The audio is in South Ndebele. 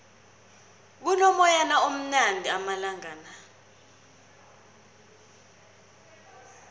kuno moyana omnanjana amalangala